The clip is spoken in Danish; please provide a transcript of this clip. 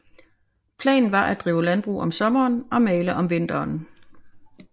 Planen var at drive landbrug om sommeren og male om vinteren